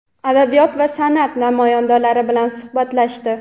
adabiyot va sanʼat namoyandalari bilan suhbatlashdi.